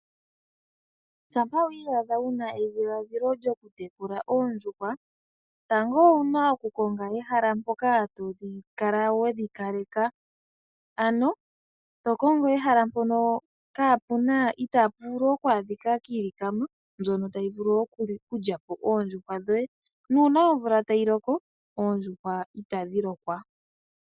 Shampa wiiyadha wu na edhiladhilo lyo ku tekula oondjuhwa, tango owu na oku konga ehala mpoka to dhi kala wedhi kaleka, ano to kongo ehala mpono kaa pu na, ita pu vulu okwaadhika kiilikama mbyono ta yi vulu okulya po oondjuhwa dhoye, nuuna omvula ta yi loko oondjuhwa ita dhi lokwa.